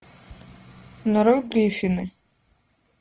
нарой гриффины